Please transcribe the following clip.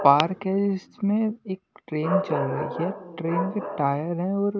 park है इसमें एक ट्रेन चल रही है ट्रेन के टायर है और--